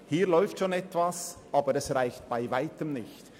Hier läuft schon etwas, aber das reicht bei Weitem nicht.